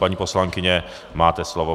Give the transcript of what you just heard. Paní poslankyně, máte slovo.